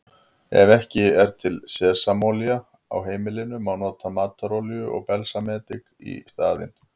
Ef ekki er til sesamolía á heimilinu má nota matarolíu og balsamedik í staðinn.